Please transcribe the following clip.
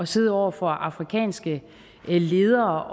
sidde over for afrikanske ledere